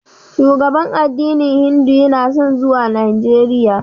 Shugaban addinin Hindu yana son zuwa Najeriya.